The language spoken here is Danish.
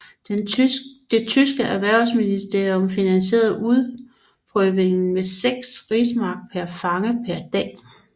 Det tyske erhvervsministerium finansierede udprøvningen med seks rigsmark per fange per dag